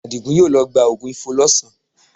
Àdìgún yóò lọ gba oògùn Ifo lọ́sàn-án